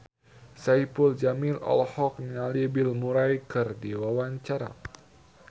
Saipul Jamil olohok ningali Bill Murray keur diwawancara